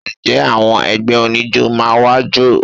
Ǹjẹ́ àwọn ẹgbẹ́ oníjó máa wá jó?